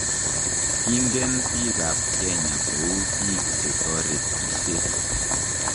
Kingen biik ab kenya kou biik che toretishe.